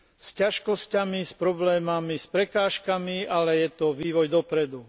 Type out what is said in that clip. S ťažkosťami, s problémami, s prekážkami, ale je to vývoj dopredu.